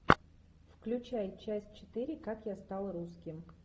включай часть четыре как я стал русским